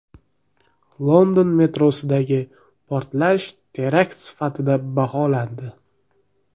London metrosidagi portlash terakt sifatida baholandi.